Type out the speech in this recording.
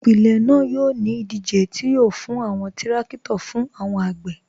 Ipilẹ̀ naa yọ̀ ni idije ti yọ̀ fún awọn tìrakito fún awọn agbè.